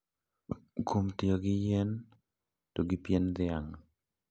Kuom tiyo gi yien to gi pien dhiang`.